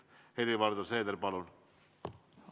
Helir-Valdor Seeder, palun!